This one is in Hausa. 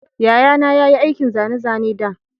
Yayana ya yi aikin zane-zane da